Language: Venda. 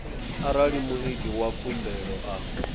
arali muiti wa khumbelo a